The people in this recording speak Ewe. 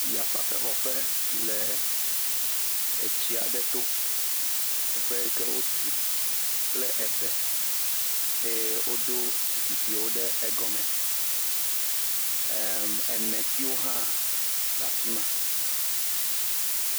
Yafafɛxɔƒe le etsi aɖe to. Teƒe yi ke wotu kple ebe eye woɖo zikpuiwo ɖe egɔme. Em enetsiwo hʋ le afi ma.